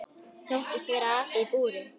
Þóttist vera api í búri.